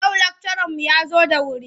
Yau lakcaranmu ya zo da wuri.